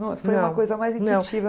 Foi uma coisa mais intuitiva?